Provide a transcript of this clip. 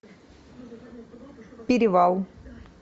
перевал